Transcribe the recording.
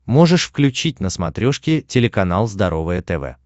можешь включить на смотрешке телеканал здоровое тв